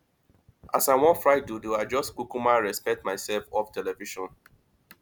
as i wan fry dodo i just kukuma respect myself off television